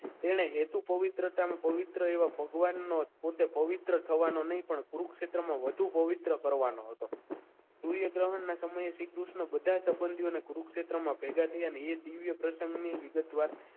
એણે હેતુ પવિત્રતાના પવિત્ર એવા ભગવાન નો પોતે પવિત્ર થવાનું નહીં પણ કુરુક્ષેત્રમાં વધુ પવિત્ર કરવાનો હતો સૂર્ય ગ્રહણના સમયે શ્રીકૃષ્ણ બધા સંબંધોની કુરુક્ષેત્રમાં ભેગા થયા અને એ દિવ્ય પ્રસંગની વિગતવાર